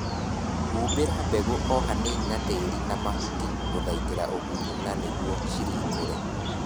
Humbĩra mbegũ o hanini na tĩri na mahuti gũthaitĩra ũgunyu na nĩguo ciringũre